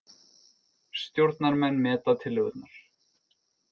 Stjórnarmenn meta tillögurnar